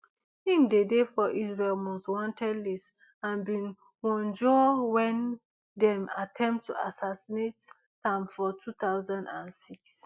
im dey dey for israel most wanted list and bin wunjure wen dem attempt to assassinate am for two thousand and six